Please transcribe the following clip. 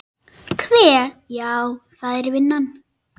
Hve. já, það er vinnan.